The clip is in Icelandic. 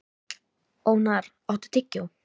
Ónarr, áttu tyggjó?